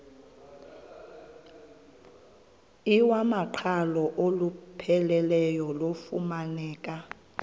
iwamaqhalo olupheleleyo lufumaneka